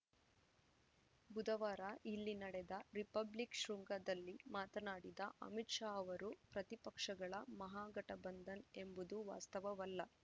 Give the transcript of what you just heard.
ಬುಧವಾರ ಇಲ್ಲಿ ನಡೆದ ರಿಪಬ್ಲಿಕ್‌ ಶೃಂಗದಲ್ಲಿ ಮಾತನಾಡಿದ ಅಮಿತ್‌ ಶಾ ಅವರು ಪ್ರತಿಪಕ್ಷಗಳ ಮಹಾಗಠಬಂಧನ್‌ ಎಂಬುದು ವಾಸ್ತವವಲ್ಲ